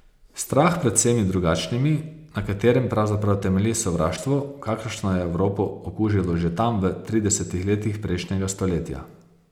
Strah pred vsemi drugačnimi, na katerem pravzaprav temelji sovraštvo, kakršno je Evropo okužilo že tam v tridesetih letih prejšnjega stoletja.